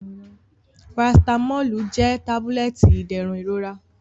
Paracetamolu jẹ tabulẹti iderun irora.